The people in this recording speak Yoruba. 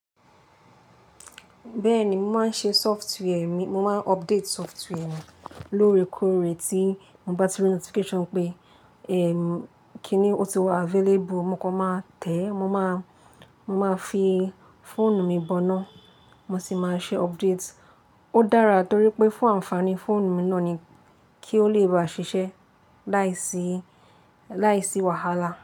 Bẹ́ẹ̀ni, mo máa ń ṣe software mi, mo máa ń update software mi lóòrè kóóre ti mo bá ti rí notification pé, eh, kíni ó ti wá available. Mo kọ máa tẹ̀ẹ́, mo máa, mo máa fi fóònù mi bọ́ná, mo sì máa ṣe update. Ó dára torí pé fún ànfàní fóònù mi náà ni kí ó lè bá ṣiṣẹ́ láìsí, láìsí wàhálà.